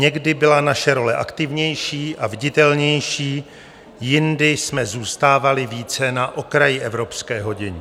Někdy byla naše role aktivnější a viditelnější, jindy jsme zůstávali více na okraji evropského dění.